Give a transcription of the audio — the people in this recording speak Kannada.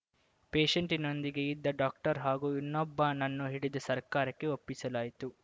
ಪೇಶೆಂಟಿನೊಂದಿಗೆ ಇದ್ದ ಡಾಕ್ಟರ್‌ ಹಾಗೂ ಇನ್ನೊಬ್ಬನನ್ನು ಹಿಡಿದು ಸರ್ಕಾರಕ್ಕೆ ಒಪ್ಪಿಸಲಾಯಿತು